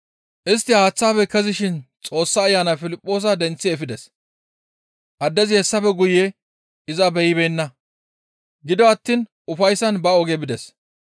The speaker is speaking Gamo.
Istti haaththaafe kezishin Xoossa Ayanay Piliphoosa denththi efides; addezi hessafe guye iza beyibeenna; gido attiin ufayssan ba oge bides.